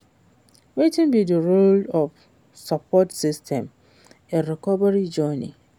Wetin be di role of support system in recovery journey?